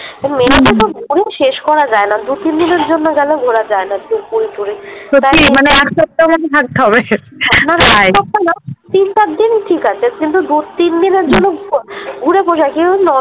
Mainly তো ঘুরে শেষ করা যায়না দু তিন দিনের জন্য গেলেও ঘোড়া যায়না পুরী টুরি সত্যি মানে এক সপ্তাহ থাকতে হবে একসপ্তাহ না তিন চার দিন ঠিক আছে কিন্তু দু তিন দিনের জন্য ঘুরে পোষায় কিন্তু ন